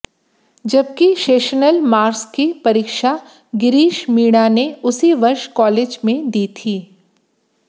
जबकि sessional marks की परीक्षा गिरीश मीणा ने उसी वर्ष कॉलेज में दी थी